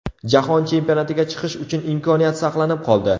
Jahon Chempionatiga chiqish uchun imkoniyat saqlanib qoldi.